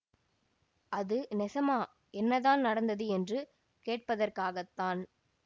அது நெசமா என்னதான் நடந்தது என்று கேட்பதற்காகத்தான்